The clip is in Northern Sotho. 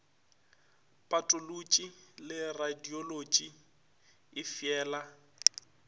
patolotši le radiolotši e feela